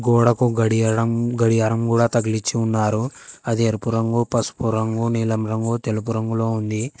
గోడకు గడియారం గడియారం కూడా తగిలిచ్చి ఉన్నారు అది ఎరుపు రంగు పసుపు రంగు నీలం రంగు తెలుపు రంగులో ఉంది.